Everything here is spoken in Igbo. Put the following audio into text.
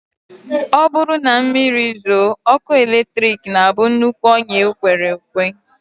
Ọ bụrụ na mmiri zoo, ọkụ eletrik na-abụ nnukwu ọnyá e kwere ekwe